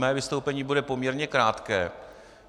Mé vystoupení bude poměrně krátké.